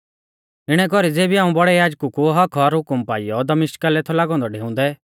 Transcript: इणै कौरी ज़ेबी हाऊं बौड़ै याजकु कु हक्क्क और हुकम पाइयौ दमिश्का लै थौ लागौ औन्दौ डेउंदै